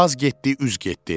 Az getdi, üz getdi.